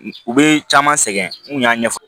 U bɛ caman sɛgɛn n kun y'a ɲɛfɔ